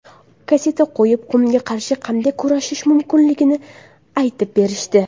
Kasseta qo‘yib, qumga qarshi qanday kurashish mumkinligini aytib berishdi.